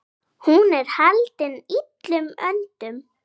Hún er haldin illum öndum.